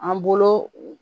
An bolo